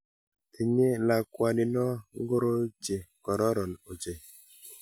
Tinye lakwanino ngoroik che kororon ochei.